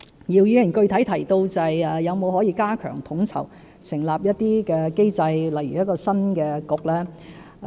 姚議員具體提到可否加強統籌，設立一些機制，例如新的政策局。